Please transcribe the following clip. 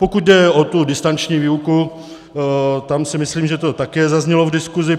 Pokud jde o tu distanční výuku, tam si myslím, že to také zaznělo v diskuzi.